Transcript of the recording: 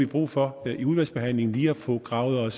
brug for i udvalgsbehandlingen lige at få gravet